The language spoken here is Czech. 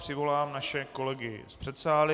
Přivolám naše kolegy z předsálí.